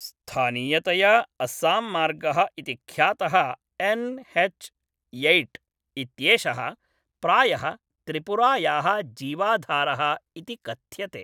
स्थानीयतया अस्साम्मार्गः इति ख्यातः एन् एच् यैय्ट् इत्येषः प्रायः त्रिपुरायाः जीवाधारः इति कथ्यते।